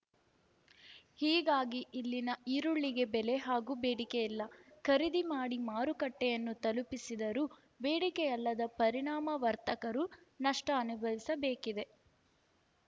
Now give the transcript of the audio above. ಹೀಗಾಗಿ ಇಲ್ಲಿನ ಈರುಳ್ಳಿಗೆ ಬೆಲೆ ಹಾಗೂ ಬೇಡಿಕೆಯಿಲ್ಲ ಖರೀದಿ ಮಾಡಿ ಮಾರುಕಟ್ಟೆಯನ್ನು ತಲುಪಿಸಿದರೂ ಬೇಡಿಕೆಯಲ್ಲದ ಪರಿಣಾಮ ವರ್ತಕರು ನಷ್ಟ ಅನುಭವಿಸಬೇಕಿದೆ